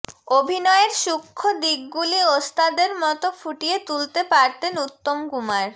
অভিনয়ের সূক্ষ্ণ দিকগুলি ওস্তাদের মতো ফুটিয়ে তুলতে পারতেন উত্তমকুমার